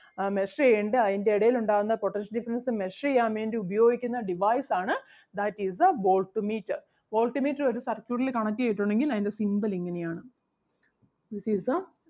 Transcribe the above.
ആഹ് measure ചെയ്യണ്ടേ അതിൻ്റെ ഇടയിലുണ്ടാകുന്ന potential difference measure ചെയ്യാൻ വേണ്ടി ഉപയോഗിക്കുന്ന device ആണ് that is the volt meter. volt meter ഒരു circuit ല് connect ചെയ്‌തിട്ടുണ്ടെങ്കിൽ അതിൻ്റെ symbol ഇങ്ങനെ ആണ് That is the